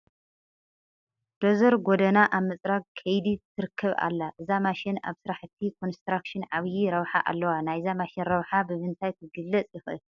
ዶዘር ጐደና ኣብ ምፅራግ ከይዲ ትርከብ ኣላ፡፡ እዛ ማሽን ኣብ ስራሕቲ ኮንስትራክሽን ዓብዪ ረብሓ ኣለዋ፡፡ ናይዛ ማሽን ረብሓ ብምንታይ ክግለፅ ይኽእል?